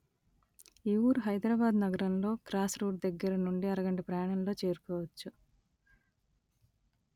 ఈ ఊరు హైదరాబాదు నగరంలో క్రాస్‌రోడ్ దగ్గరనుండి అరగంట ప్రయాణంలో చేరుకోవచ్చు